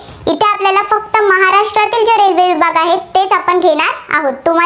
आहोत.